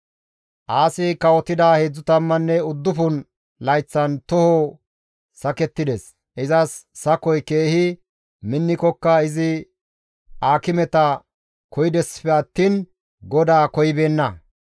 Aasi kawotida 39 layththan toho sakettides; izas sakoy keehi minnikokka izi aakimeta koyidessife attiin GODAA koyibeenna.